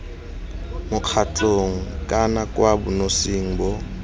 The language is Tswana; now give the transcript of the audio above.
mokgatlhong kana kwa bonosing bo